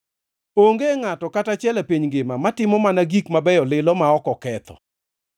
Onge ngʼato kata achiel e piny ngima matimo mana gik mabeyo lilo ma ok oketho.